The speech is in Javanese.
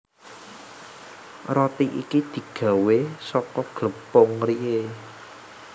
Roti iki digawé saka glepung rye